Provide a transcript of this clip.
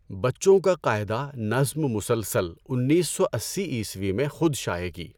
بچوں کا قاعدہ نظم مسلسل انیس سو اسّی عیسوی میں خود شائع کی۔